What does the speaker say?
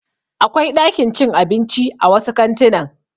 Akwai ɗakin cin abinci a wasu kantuna.